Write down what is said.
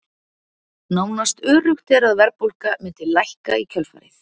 Nánast öruggt er að verðbólga mundi lækka í kjölfarið.